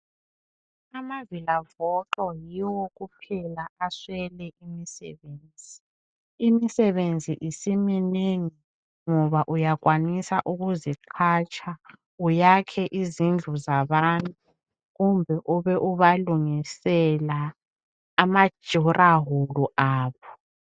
Amavila voxo yiwo kuphela aswele imisebenzi. Imisebenzi siminengi ngoba uyakwanisa ukuziqhatsha , uyakhe izindlu zabantu kumbe ube ubalungisela ama (durawall) abo.